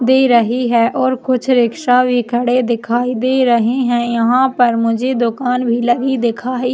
दे रही है और कुछ रिक्शा भी खड़े दिखाई दे रहे है और यहाँ पर मुझे दुकान भी लगी दिखाई --